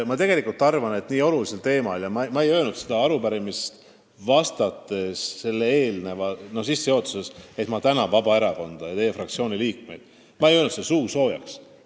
Ma tegelikult arvan, et teema on väga oluline, ja ma ei öelnud arupärimisele vastates niisama suusoojaks, et ma tänan Vabaerakonda ja teie fraktsiooni liikmeid selle tõstatamise eest.